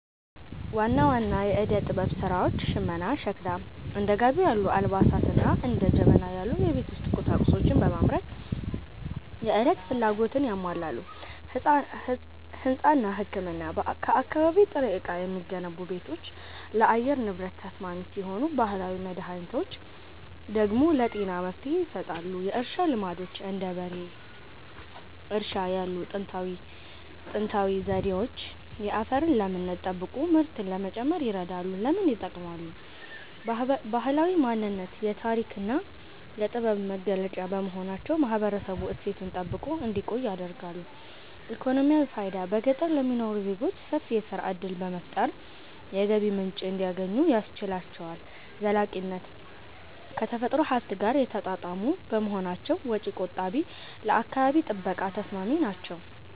ዋና ዋና የዕደ-ጥበብ ሥራዎች ሽመናና ሸክላ፦ እንደ ጋቢ ያሉ አልባሳትንና እንደ ጀበና ያሉ የቤት ውስጥ ቁሳቁሶችን በማምረት የዕለት ፍላጎትን ያሟላሉ። ሕንጻና ሕክምና፦ ከአካባቢ ጥሬ ዕቃ የሚገነቡ ቤቶች ለአየር ንብረት ተስማሚ ሲሆኑ፣ ባህላዊ መድኃኒቶች ደግሞ ለጤና መፍትሔ ይሰጣሉ። የእርሻ ልማዶች፦ እንደ በሬ እርሻ ያሉ ጥንታዊ ዘዴዎች የአፈርን ለምነት ጠብቆ ምርትን ለመጨመር ይረዳሉ። ለምን ይጠቅማሉ? ባህላዊ ማንነት፦ የታሪክና የጥበብ መገለጫ በመሆናቸው ማህበረሰቡ እሴቱን ጠብቆ እንዲቆይ ያደርጋሉ። ኢኮኖሚያዊ ፋይዳ፦ በገጠር ለሚኖሩ ዜጎች ሰፊ የሥራ ዕድል በመፍጠር የገቢ ምንጭ እንዲያገኙ ያስችላቸዋል። ዘላቂነት፦ ከተፈጥሮ ሀብት ጋር የተጣጣሙ በመሆናቸው ወጪ ቆጣቢና ለአካባቢ ጥበቃ ተስማሚ ናቸው።